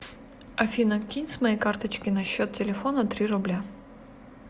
афина кинь с моей карточки на счет телефона три рубля